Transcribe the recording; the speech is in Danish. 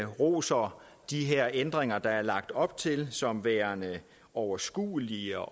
roser de her ændringer der er lagt op til som værende overskuelige